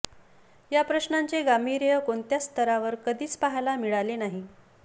या प्रश्नाचे गांभीर्य कोणत्याच स्तरावर कधीच पहायला मिळाले नाही